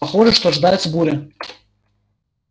похоже что ожидается буря